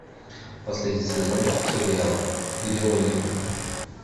последний сезон сериала где логика